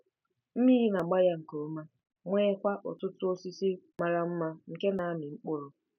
Mmiri na-agba ya nke ọma, nweekwa ọtụtụ osisi mara mma nke na-amị mkpụrụ.